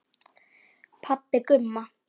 Pabbi Gumma!